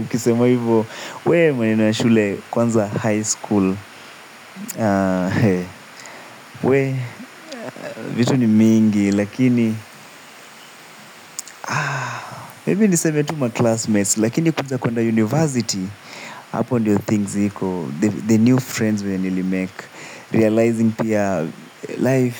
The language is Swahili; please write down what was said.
Ukisema hivyo, wee maneno ya shule kwanza high school, wee, vitu ni mingi, lakini, maybe niseme tu ma-classmates, lakini kuja kwenda university, hapo ndio things hiko, the new friends wenye nili-make, realizing pia life,